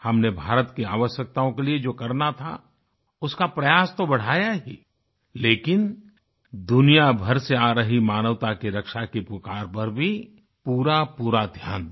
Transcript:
हमने भारत की आवश्यकताओं के लिए जो करना था उसका प्रयास तो बढ़ाया ही लेकिन दुनियाभर से आ रही मानवता की रक्षा की पुकार पर भी पूरापूरा ध्यान दिया